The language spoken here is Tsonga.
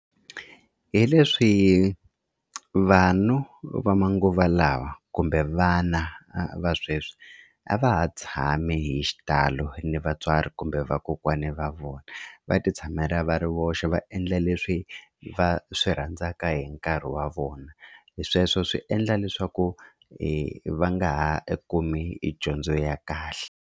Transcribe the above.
Hi leswi vanhu va manguva lawa kumbe vana va sweswi a va ha tshami hi xitalo ni vatswari kumbe vakokwani va vona va titshamela va ri voxe va endla leswi va swi rhandzaka hi nkarhi wa vona hi sweswo swi endla leswaku hi va nga ha kumi i dyondzo ya kahle.